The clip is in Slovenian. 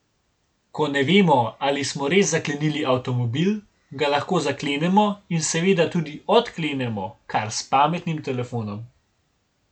Ko ne vemo, ali smo res zaklenili avtomobil, ga lahko zaklenemo in seveda tudi odklenemo kar s pametnim telefonom.